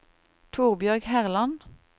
Torbjørg Herland